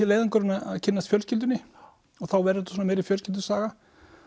leiðangurinn að kynnast fjölskyldunni og þá verður svona meiri fjölskyldusaga